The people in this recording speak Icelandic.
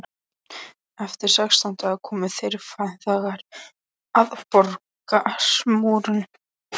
Eftir sextán daga komu þeir feðgar að borgarmúrum